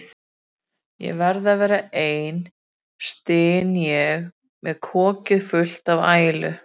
Ég verð að vera ein, styn ég með kokið fullt af ælu.